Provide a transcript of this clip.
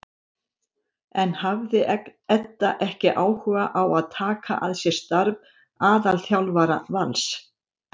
En hafði Edda ekki áhuga á að taka að sér starf aðalþjálfara Vals?